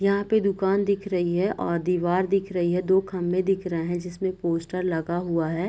यहाँ पे दुकान दिख रही है और दिवार दिख रही है दो खम्भे दिख रहे हैं जिसमें पोस्टर लगा हुआ है |